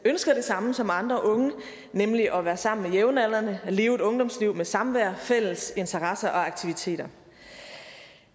ønsker det samme som andre unge nemlig at være sammen med jævnaldrende og leve et ungdomsliv med samvær fælles interesser og aktiviteter